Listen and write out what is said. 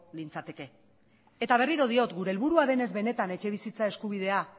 nintzateke eta berriro diot gure helburua denez benetan etxebizitza eskubidea